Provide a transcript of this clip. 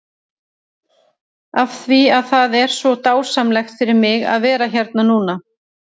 Af því að það er svo dásamlegt fyrir mig að vera hérna núna?